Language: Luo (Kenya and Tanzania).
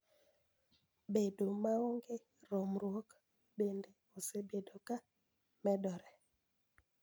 Bedo maonge romruok bende osebedo ka medore